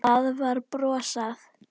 Það var brosað.